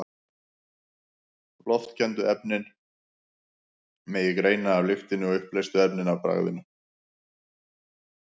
Loftkenndu efnin megi greina af lyktinni og uppleystu efnin af bragðinu.